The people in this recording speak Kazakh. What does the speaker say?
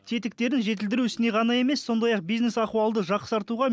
бетіктерін жетілдіру ісіне ғана емес сондай ақ бизнес ахуалды жақсартуға